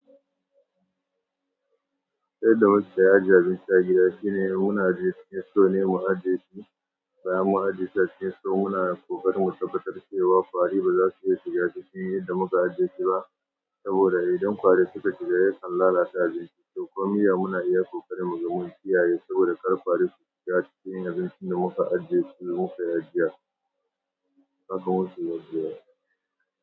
Yadda wasu su ajiye abinci a gida shine muna ajiye cikin store ne mu ajiye su, bayan mun ajiye su a cikin so muna ƙoƙarin mu tabbatar cewa ƙwari baza su iya shiga cikin idan muka ajiye su ba. Saboda idan ƙwari suka shiga, yakan lalace abincin, to kuma muna iya ƙoƙarin mu, muga mun kiyaye saboda kar ƙwari su shiga su cinye abincin da muka ajiye su da muka yi ajiya. Haka mu keyi yanzu ai.